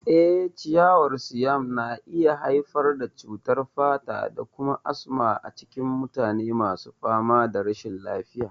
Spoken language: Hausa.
Eh, ciyawar Siam na iya haifar da cutar fata da kuma asma a cikin mutane masu fama da rashin lafiya.